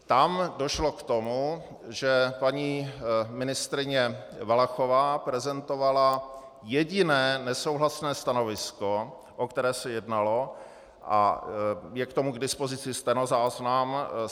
Tam došlo k tomu, že paní ministryně Valachová prezentovala jediné nesouhlasné stanovisko, o které se jednalo, a je k tomu k dispozici stenozáznam.